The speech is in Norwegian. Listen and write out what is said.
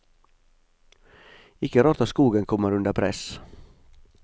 Ikke rart at skogen kommer under press.